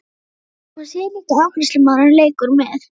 Hún sér líka að afgreiðslumaðurinn leikur með.